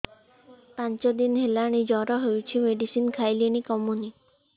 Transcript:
ପାଞ୍ଚ ଦିନ ହେଲାଣି ଜର ହଉଚି ମେଡିସିନ ଖାଇଲିଣି କମୁନି